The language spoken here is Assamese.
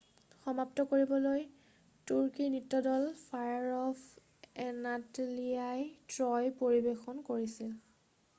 "সমাপ্ত কৰিবলৈ তুৰ্কীৰ নৃত্য দল ফায়াৰ অফ এনাটলিয়াই "ট্ৰয়" পৰিবেশন কৰিছিল।""